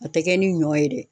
A tɛ kɛ ni ɲɔ ye dɛ.